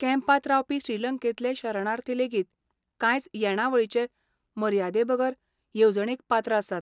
कॅम्पांत रावपी श्रीलंकेंतले शरणार्थी लेगीत कांयच येणावळीचे मर्यादेबगर येवजणेक पात्र आसात.